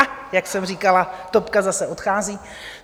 A jak jsem říkala, Topka zase odchází.